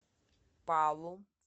палу